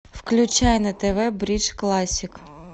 включай на тв бридж классик